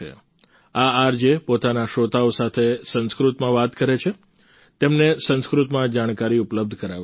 આ આરજે પોતાના શ્રોતાઓ સાથે સંસ્કૃતમાં વાત કરે છે તેમને સંસ્કૃતમાં જાણકારી ઉપલબ્ધ કરાવે છે